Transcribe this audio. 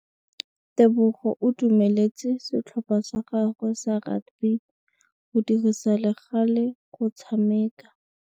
Tebogô o dumeletse setlhopha sa gagwe sa rakabi go dirisa le galê go tshameka.